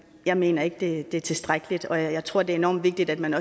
jeg mener ikke det er tilstrækkeligt og jeg tror det er enormt vigtigt at man